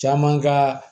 Caman ka